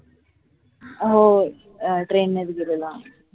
हो train नीच गेलेलो आम्ही